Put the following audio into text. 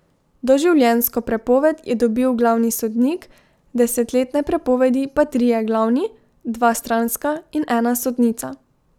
Doživljenjsko prepoved je dobil glavni sodnik, desetletne prepovedi pa trije glavni, dva stranska in ena sodnica.